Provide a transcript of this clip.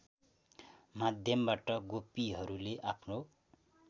माध्यमबाट गोपीहरूले आफ्नो